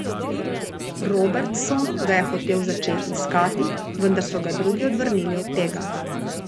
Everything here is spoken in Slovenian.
Robertson ga je hotel začeti iskati, vendar so ga drugi odvrnili od tega.